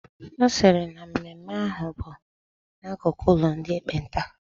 Ọ sịrị na mmemme ahụ bụ n'akụkụ ụlọ ndị ekpenta